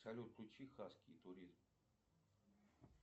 салют включи хаски туризм